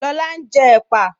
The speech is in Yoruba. Lọlá n jẹ́ èpà